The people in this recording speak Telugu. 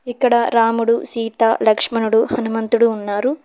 ఇక్కడ రాముడు సీత లక్ష్మణుడు హనుమంతుడు ఉన్నారు.